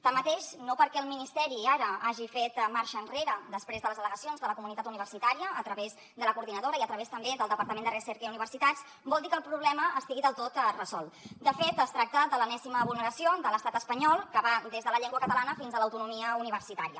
tanmateix no perquè el ministeri ara hagi fet marxa enrere després de les al·legacions de la comunitat universitària a través de la coordinadora i a través també del departament de recerca i universitats vol dir que el problema estigui del tot resolt de fet es tracta de l’enèsima vulneració de l’estat espanyol que va des de la llengua catalana fins a l’autonomia universitària